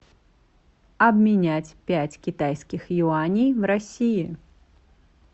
обменять пять китайских юаней в россии